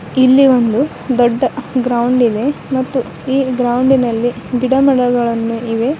ಇಲ್ಲಿ ಒಂದು ದೊಡ್ಡ ಗ್ರೌಂಡ್ ಇದೆ ಮತ್ತು ಈ ಗ್ರೌಂಡಿನಲ್ಲಿ ಗಿಡ ಮಡಗಳನ್ನು ಇವೆ.